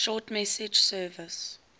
short message service